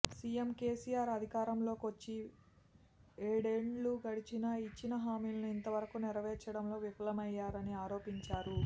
CM KCR అధికారంలోకొచ్చి ఏడేండ్లు గడిచినా ఇచ్చిన హామీలను ఇంతవరకు నెరవేర్చడంలో విఫలమయ్యరని ఆరోపించారు